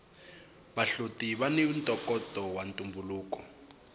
vahloti vani ntokoto wa ntumbuluko